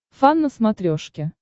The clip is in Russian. фан на смотрешке